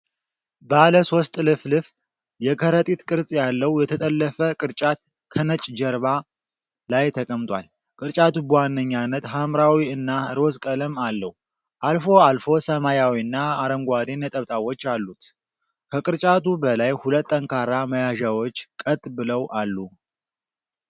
ባለሶስት ጥልፍልፍ የከረጢት ቅርጽ ያለው የተጠለፈ ቅርጫት ከነጭ ጀርባ ላይ ተቀምጧል። ቅርጫቱ በዋነኛነት ሐምራዊ እና ሮዝ ቀለም አለው፣ አልፎ አልፎ ሰማያዊና አረንጓዴ ነጠብጣቦች አሉት። ከቅርጫቱ በላይ ሁለት ጠንካራ መያዣዎች ቀጥ ብለው አሉ።